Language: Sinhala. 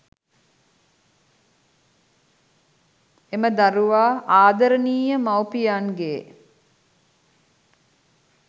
එම දරුවා ආදරණීය මවුපියන්ගේ්